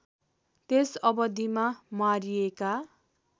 त्यस अवधिमा मारिएका